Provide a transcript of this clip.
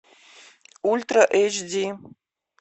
ультра эйч ди